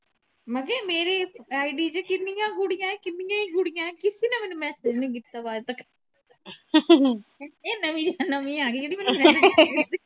ਮਤਲਬ ਕੇ ਮੇਰੀ id ਚ ਕਿੰਨੀਆਂ ਕੁੜੀਆਂ, ਕਿੰਨੀਆਂ ਈ ਕੁੜੀਆਂ ਕਿਸੇ ਨੇ ਮੈਨੂੰ message ਨਹੀਂ ਕੀਤਾ ਵਾ ਅੱਜਤਕ ਇਹ ਨਵੀਂ ਜੀ ਨਵੀਂ ਆ ਗਈ ਜਿਹੜੀ ਮੈਨੂੰ message ਕਰੀ ਜਾਂਦੀ।